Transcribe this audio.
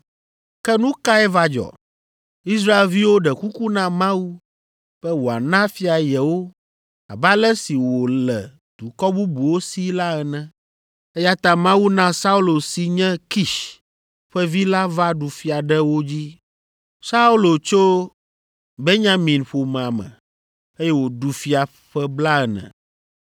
“Ke nu kae va dzɔ? Israelviwo ɖe kuku na Mawu be wòana fia yewo abe ale si wòle dukɔ bubuwo sii la ene, eya ta Mawu na Saulo si nye Kish ƒe vi la va ɖu fia ɖe wo dzi. Saulo tso Benyamin ƒomea me, eye wòɖu fia ƒe blaene.